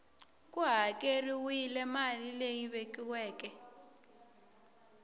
ku hakeriwile mali leyi vekiweke